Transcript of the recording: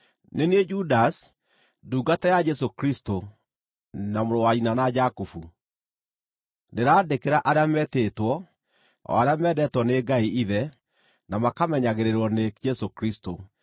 Nĩ niĩ Judasi, ndungata ya Jesũ Kristũ, na mũrũ wa nyina na Jakubu, Ndĩraandĩkĩra arĩa metĩtwo, o arĩa mendetwo nĩ Ngai Ithe, na makamenyagĩrĩrwo nĩ Jesũ Kristũ: